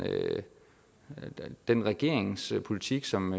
den regeringspolitik som